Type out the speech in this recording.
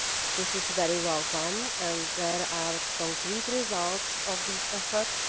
this is very welcome and there are concrete results from these efforts.